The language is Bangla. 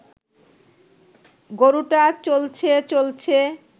গরুটা চলছে চলছে